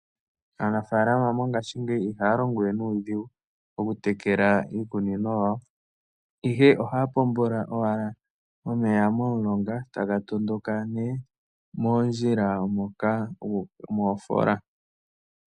Aanafalama mongashingeyi iha ya longowe nuudhigu okutekela iikunino yawo, ihe ohaya pombola owala omeya momulonga taga tondoka nee moondjila guuka moofola.